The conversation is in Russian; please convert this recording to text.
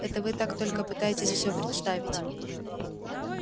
это вы так только пытаетесь всё представить